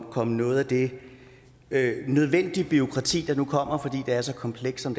og komme noget af det nødvendige bureaukrati der nu kommer fordi det er så komplekst som